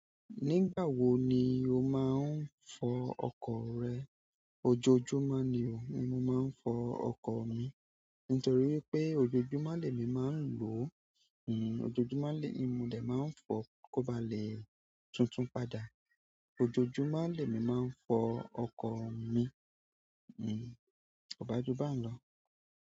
Nígbà wo ni o máa ń fọ ọkọ̀ rẹ? Ojoojúmọ́ nì o, ni mo máa ń fọ ọkọ̀ mi nítorí pé ojoojúmọ́ lé mi máa ń lò ó, ojoojúmọ́ ni mo dè máa ń fọ kó ba lè tuntun padà. Ojoojúmọ́ lé mi máa ń fọ ọkọ̀ mi, kọba jú bà n lọ.